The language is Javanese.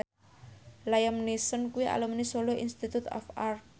Liam Neeson kuwi alumni Solo Institute of Art